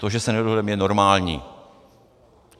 To, že se nedohodneme, je normální.